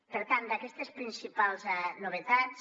per tant d’aquestes principals novetats